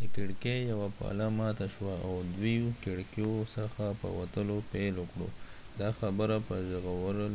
د کړکې یوه پله ماته شوه او دوي کړکېو څخه په وتلو پیل وکړ دا خبره په ژغورل